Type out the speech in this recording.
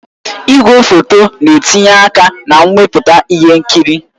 Igwefoto na-etinye aka na mmepụta ihe nkiri